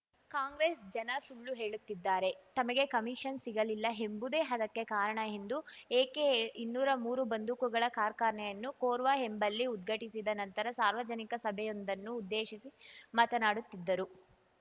ಕಾಂಗ್ರೆಸ್ ಜನ ಸುಳ್ಳು ಹೇಳುತ್ತಿದ್ದಾರೆ ತಮಗೆ ಕಮಿಷನ್ ಸಿಗಲಿಲ್ಲ ಎಂಬುದೇ ಅದಕ್ಕೆ ಕಾರಣ ಎಂದು ಎಕೆ ಇನ್ನೂರಾ ಮೂರು ಬಂದೂಕುಗಳ ಕಾರ್ಖಾನೆಯನ್ನು ಕೊರ್ವ ಎಂಬಲ್ಲಿ ಉದ್ಘಾಟಿಸಿದ ನಂತರ ಸಾರ್ವಜನಿಕ ಸಭೆಯೊಂದನ್ನು ಉದ್ದೇಶಿಸಿ ಮಾತನಾಡುತ್ತಿದ್ದರು